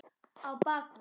Á bak við